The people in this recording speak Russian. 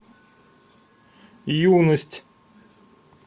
юность